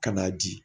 Ka n'a di